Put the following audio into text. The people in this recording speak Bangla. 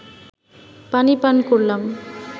পানি পান করলাম